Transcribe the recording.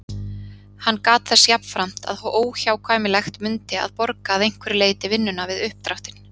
Hann gat þess jafnframt, að óhjákvæmilegt mundi að borga að einhverju leyti vinnuna við uppdráttinn.